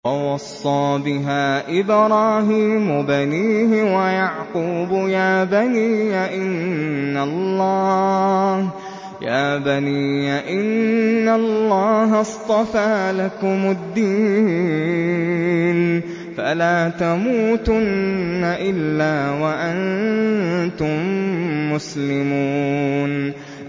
وَوَصَّىٰ بِهَا إِبْرَاهِيمُ بَنِيهِ وَيَعْقُوبُ يَا بَنِيَّ إِنَّ اللَّهَ اصْطَفَىٰ لَكُمُ الدِّينَ فَلَا تَمُوتُنَّ إِلَّا وَأَنتُم مُّسْلِمُونَ